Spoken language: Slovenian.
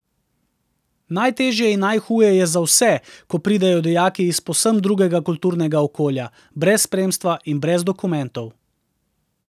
Najtežje in najhuje je za vse, ko pridejo dijaki iz povsem drugega kulturnega okolja, brez spremstva in brez dokumentov.